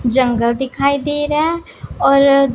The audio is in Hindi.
जंगल दिखाई दे रहां हैं और--